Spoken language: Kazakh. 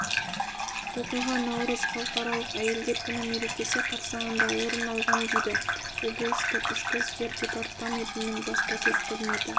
оқиға наурыз халықаралық әйелдер күні мерекесі қарсаңында орын алған дейді облыстық ішкі істер департаментінің баспасөз қызметі